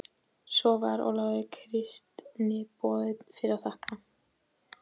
Svo var Ólafi kristniboða fyrir að þakka.